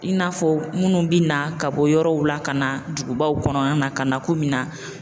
I n'a fɔ minnu bɛ na ka bɔ yɔrɔw la ka na dugubaw kɔnɔna na ka na k'o mi na